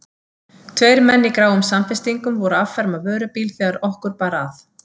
Tveir menn í gráum samfestingum voru að afferma vörubíl þegar okkur bar að.